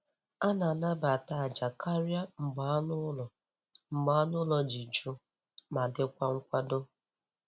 A na-anabata àjà karịa mgbe anụ ụlọ mgbe anụ ụlọ dị jụụ ma dịkwa nkwado.